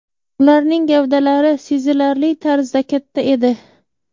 Ularning gavdalari sezilarli tarzda katta edi...”.